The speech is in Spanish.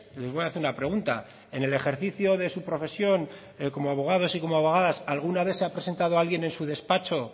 les voy a hacer una pregunta en el ejercicio de su profesión como abogados y como abogadas alguna vez se ha presentado alguien en su despacho